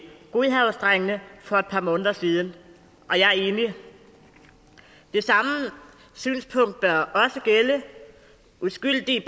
godhavnsdrengene for et par måneder siden og jeg er enig det samme synspunkt bør også gælde uskyldige